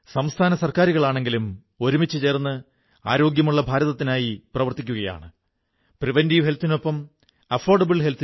സുഹൃത്തുക്കളേ ഇന്ന് നമ്മെ ഒന്നാക്കും വിധം നമുക്ക് നമ്മുടെ വാക്കുകളും പെരുമാറ്റങ്ങളും നമ്മുടെ കർമ്മങ്ങളും കൊണ്ട് അനുനിമിഷം എല്ലാ കാര്യങ്ങളും മുന്നോട്ടു കൊണ്ടുപോകേണ്ടതുണ്ട്